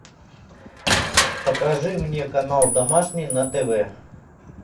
покажи мне канал домашний на тв